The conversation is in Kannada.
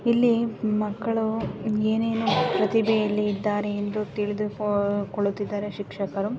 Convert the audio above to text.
ಇಲ್ಲಿ ಮಕ್ಕಳು ಏನೇನೇನು ಪ್ರತಿಭೆಯಲ್ಲಿ ಇದ್ದಾರೆ ಏಂದು ತಿಳಿದು ಕುಳ್ಳುತಿದ್ದರೆ ಶಿಕ್ಷಕರೂ.